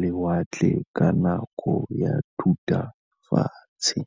lewatle ka nako ya Thutafatshe.